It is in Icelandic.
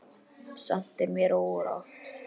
Samt er mér órótt.